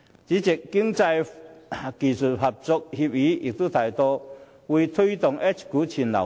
主席，《經濟技術合作協議》亦提到會推動 H 股全流通。